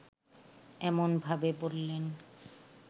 এমনভাবে বললেন